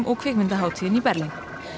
og kvikmyndahátíðinni í Berlín